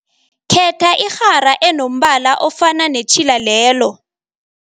Khetha irhara enombala ofana netjhila lelo.